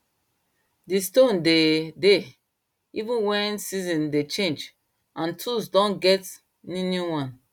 di stone de dey even wen season dey change and tools don get new new one